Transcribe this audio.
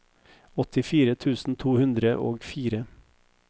åttifire tusen to hundre og fire